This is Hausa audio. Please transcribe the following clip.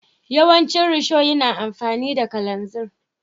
Yawancin risho yana amfani da kalanzir.